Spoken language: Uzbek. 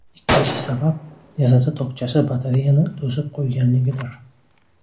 Ikkinchi sabab, deraza tokchasi batareyani to‘sib qo‘yganligidir.